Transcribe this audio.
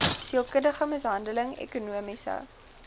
sielkundige mishandeling ekonomiese